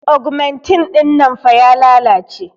augmentin dinnan fah ya lalace